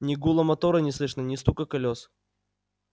ни гула мотора не слышно ни стука колёс